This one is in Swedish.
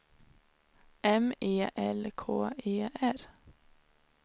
M E L K E R